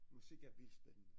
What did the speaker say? Musik er vildt spændende